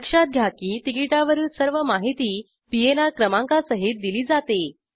लक्षात घ्या की तिकिटावरील सर्व माहिती पीएनआर क्रमांकासहित दिली जाते